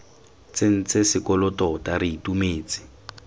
tsentse sekolo tota re itumetse